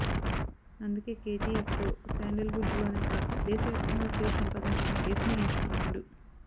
అందుకే కేజీఎఫ్తో శాండల్వుడ్లోనే కాక దేశవ్యాప్తంగా క్రేజ్ సంపాదించుకున్న యశ్ని ఎంచుకున్నాడు